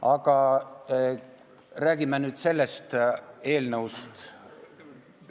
Aga räägin nüüd sellest eelnõust.